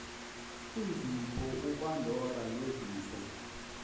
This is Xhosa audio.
izipho upandora nezipho